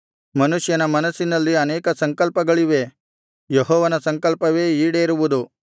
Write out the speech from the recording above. ಮನುಷ್ಯನ ಮನಸ್ಸಿನಲ್ಲಿ ಅನೇಕ ಸಂಕಲ್ಪಗಳಿವೆ ಯೆಹೋವನ ಸಂಕಲ್ಪವೇ ಈಡೇರುವುದು